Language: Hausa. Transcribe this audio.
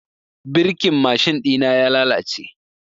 Birkin mashin ɗina ya lalace.